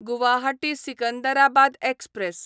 Guwahati Secunderabad express